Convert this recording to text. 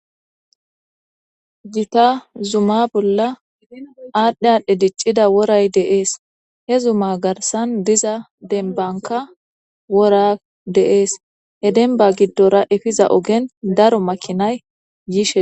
Juta zuma bolla aadhdhi aadhdhe diccida woray deees he zuma garsan diza dembanka wora deees he denba giddora efiza ogen daro makinay yishe.